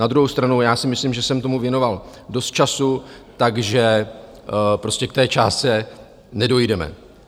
Na druhou stranu já si myslím, že jsem tomu věnoval dost času, takže prostě k té částce nedojdeme.